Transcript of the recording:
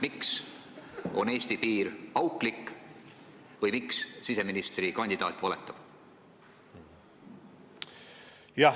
Miks on Eesti piir auklik või miks siseministrikandidaat valetab?